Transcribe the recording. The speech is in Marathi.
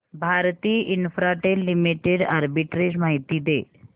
भारती इन्फ्राटेल लिमिटेड आर्बिट्रेज माहिती दे